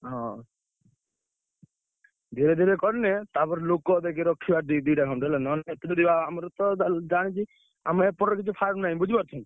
ହଁ ଧୀରେ ଧୀରେ କଲେ ତାପରେ ଲୋକ ଦେଖି ରଖିବା ~ଦି ଦିଟା ଖଣ୍ଡେ ହେଲେ ନହେଲେ ଆମରତ ~ଜା ଜାଣିଚୁ ଆମ ଏପଟରେ କିଛି farm ନାହିଁ।